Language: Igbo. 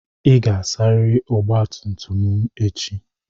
Ị ga-asarịrị ọgba tum tum m echi.